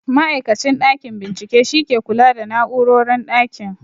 Ma'aikacin ɗakin bincike shi ke kula da na'urorin ɗakin